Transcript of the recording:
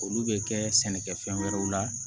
Olu bɛ kɛ sɛnɛkɛfɛn wɛrɛw la